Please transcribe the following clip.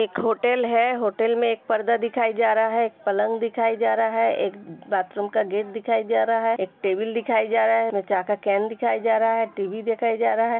एक होटल है। होटल में एक पर्दा दिखाय जा रहा है एक पलंग दिखाय जा रहा है एक बाथरूम का गेट दिखाय जा रा है एक टेबल दिखाय जा रा है एक चा का केन दिखाय जा रहा है टी.वी. दिखाय जा रा है।